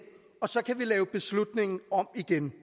og så kan vi lave beslutningen om igen